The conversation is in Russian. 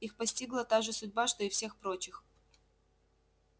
их постигла та же судьба что и всех прочих